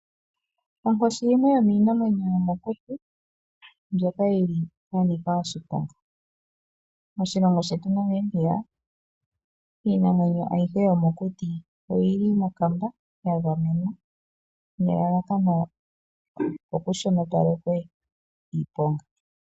Onkoshi yimwe yomiinamwenyo yomokuti mbyoka ya nika oshiponga. Moshilongo shetu Namibia iinamwenyo ayihe yomokuti oyili mokamba ya gamenwa nelalakano oku shinopalekwe iiponga.